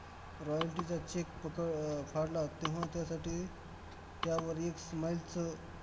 royalty चा cheque फक~ अह फाडला, तेव्हा त्यासाठी त्यावर एक smile चं